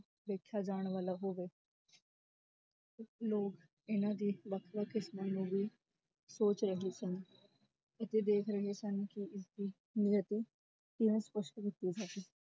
ਵੇਖਿਆ ਜਾਣ ਵਾਲਾ ਹੋਵੇ ਲੋਗ ਇੰਨਾ ਦੇ ਵਖ ਵਖ ਸੋਚ ਰਹੇ ਸਨ ਅਤੇ ਦੇਖ ਰਹੇ ਸਨ ਕਿ ਇਸ ਦੀ ਨਿਯਾਤੀ ਕਿਵੇਂ ਸਪਸ਼ਟ ਕੀਤੀ ਜਾਵੇ